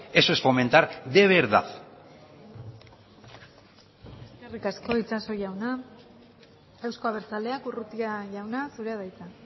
eso es fomentar de verdad eskerrik asko itxaso jauna euzko abertzaleak urrutia jauna zurea da hitza